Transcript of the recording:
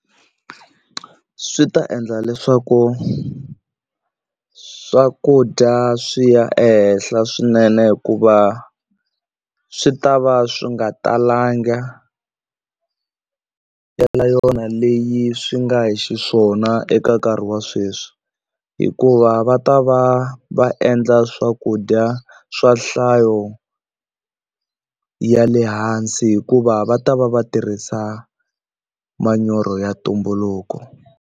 Swi ta endla leswaku swakudya swi ya ehenhla swinene hikuva swi ta va swi nga talanga yona leyi swi nga hi xiswona eka nkarhi wa sweswi hikuva va ta va va endla swakudya swa nhlayo ya le hansi hikuva va ta va va tirhisa manyoro ya ntumbuluko.